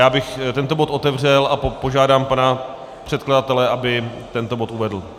Já bych tento bod otevřel a požádám pana předkladatele, aby tento bod uvedl.